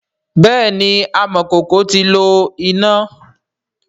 bẹẹni amọkoko ti lo ina.